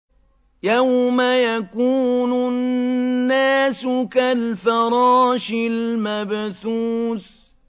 يَوْمَ يَكُونُ النَّاسُ كَالْفَرَاشِ الْمَبْثُوثِ